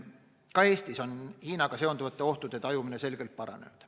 Ka Eestis on Hiinaga seonduvate ohtude tajumine selgelt paranenud.